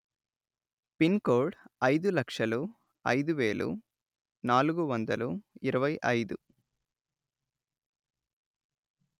pin code అయిదు లక్షలు అయిదు వేలు నాలుగు వందలు ఇరవై అయిదు